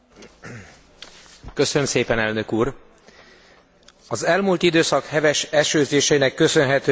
Az elmúlt időszak heves esőzéseinek köszönhetően Közép Európában katasztrofális helyzet alakult ki.